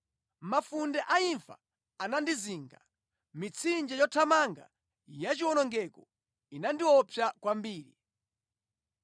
“Mafunde a imfa anandizinga; mitsinje yothamanga yachiwonongeko inandiopsa kwambiri.